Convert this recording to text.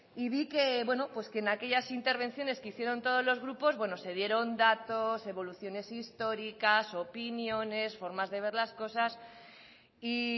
y vi que en aquellas intervenciones que hicieron todos los grupos se dieron datos evoluciones históricas opiniones formas de ver las cosas y